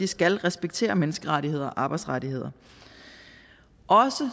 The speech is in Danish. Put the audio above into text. skal respektere menneskerettigheder og arbejdsrettigheder og